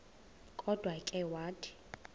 kodwa ke wathi